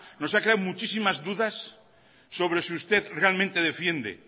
nos ha creado muchísimas dudas sobre si usted realmente defiende